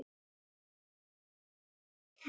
En hvað með töffaraskapinn í þessu öllu saman?